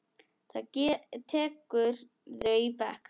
Hvað tekurðu í bekk?